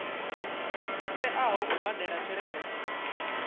a teaho u badela tshelede